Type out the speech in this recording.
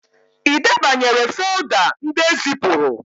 Ị debanyere folda ndị ezipụrụ?